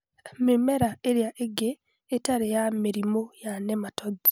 Mĩmera ĩrĩa ĩngĩ ĩtarĩ ya mĩrimũ ya nematodes